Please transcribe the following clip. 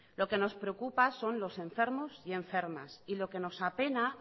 lo que nos preocupa son los enfermos y enfermas y lo que nos apena